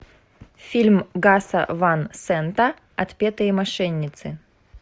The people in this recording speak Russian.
фильм гаса ван сента отпетые мошенницы